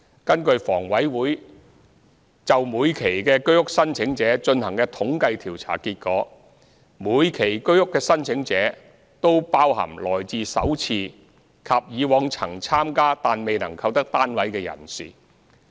根據房委會就每期居屋的申請者進行的統計調查結果，每期居屋的申請者均包含首次參加及以往曾參加但未能購得單位人士。